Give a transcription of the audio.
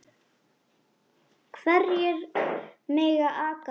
Hverjir mega aka bílnum?